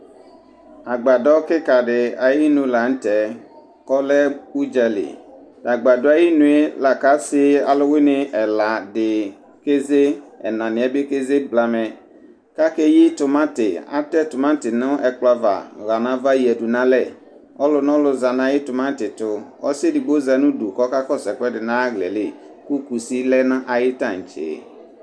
agbadɔ kika di ayi nu la nu tɛ, ɔlɛ udzali, t'agbadɔɛ ayinue la kɔsi ɛla di keze ɛna niɛ bi keze blamɛ kake yi timanti, atɛ tumanti nu ɛkplɔɛ ava ɣa nava yadu n'alɛ, ɔlɔ nɔlɔ za nayu tumanti tu, asiɛ edigbo za nudu kɔka kɔsu ɛkʋɛdi nu ay'aɣlaɛ li ku kusi lɛ n'ayi tantse